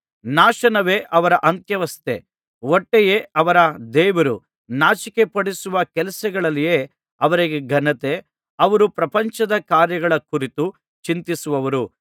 ನಾಶನವೇ ಅವರ ಅಂತ್ಯಾವಸ್ಥೆ ಹೊಟ್ಟೆಯೇ ಅವರ ದೇವರು ನಾಚಿಕೆಪಡಿಸುವ ಕೆಲಸಗಳಲ್ಲಿಯೇ ಅವರಿಗೆ ಘನತೆ ಅವರು ಪ್ರಪಂಚದ ಕಾರ್ಯಗಳ ಕುರಿತು ಚಿಂತಿಸುವವರು